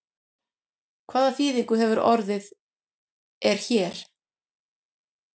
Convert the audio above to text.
Hvað þýðingu hefur orðið er hér?